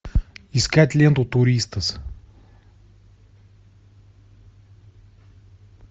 искать ленту туристас